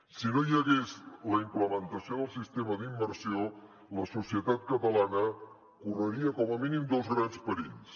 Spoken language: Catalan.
si no hi hagués la implementació del sistema d’immersió la societat catalana correria com a mínim dos grans perills